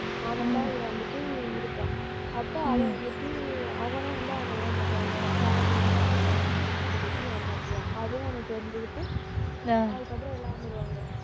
அவன்தான் இதில வந்துட்டு இருப்பான். அப்ப அவன் வந்துட்டு அவனும் வந்து அவன ஏமாத்துவான். உன்னோட share எல்லாம் எனக்கு வேணும் அப்படின்னு சொல்லிட்டு ஏமாத்துவான். அதையும் அவன் தெரிஞ்சுகிட்டு அஹ் அதுக்கப்புறம் எல்லாம் வந்துருவாங்க.